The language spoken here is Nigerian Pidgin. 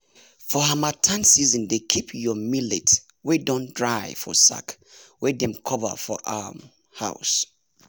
for harmattan season dey keep your millet wey don dry for sack wey dem cover for um house